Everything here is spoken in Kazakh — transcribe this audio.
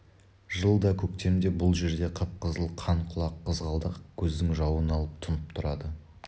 жылда көктемде бұл жерде қып-қызыл қан құлақ қызғалдақ көздің жауын алып тұнып тұрады